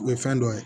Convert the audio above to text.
U ye fɛn dɔ ye